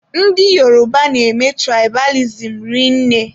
Ndị Yoruba na-eme tụraịbalizim rinne.